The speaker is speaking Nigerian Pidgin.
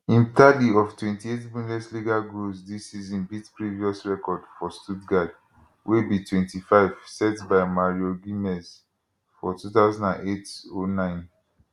im tally of 28 bundesliga goals dis season beat previous record for stuttgart wey be 25 set by mario gmez for 200809